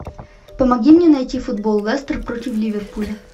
помоги мне найти футбол лестер против ливерпуля